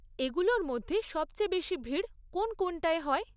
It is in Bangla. এগুলোর মধ্যে সবচেয়ে বেশি ভিড় কোন কোনটায় হয়?